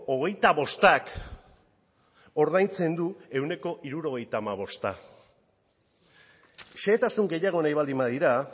hogeita bostak ordaintzen du ehuneko hirurogeita hamabosta xehetasun gehiago nahi baldin badira